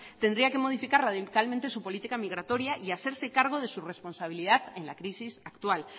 tendría que modificar radicalmente su política migratoria y hacerse cargo de su responsabilidad en la crisis actual